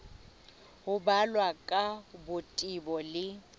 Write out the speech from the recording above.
ho balwa ka botebo le